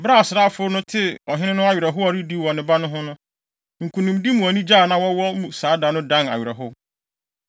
Bere a asraafo no tee ɔhene no awerɛhow a ɔredi wɔ ne ba no ho no, nkonimdi mu anigye a na wɔwɔ mu saa da no dan awerɛhow.